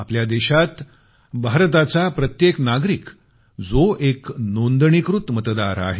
आपल्या देशात भारताचा प्रत्येक नागरिक जो एक नोंदणीकृत मतदार आहे